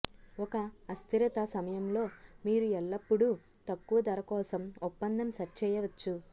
ఒక అస్థిరత సమయంలో మీరు ఎల్లప్పుడూ తక్కువ ధర కోసం ఒప్పందం సెట్ చేయవచ్చు